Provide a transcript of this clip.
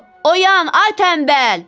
Oyan, ay tənbəl!